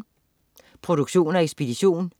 Produktion og ekspedition: